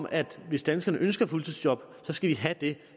at hvis danskerne ønsker fuldtidsjob så skal de have det